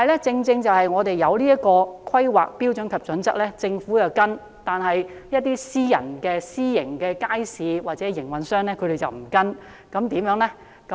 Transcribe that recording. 在訂立了此套《規劃標準與準則》後，政府有跟從，但一些私營街市營運商卻沒有跟從，這樣怎麼辦呢？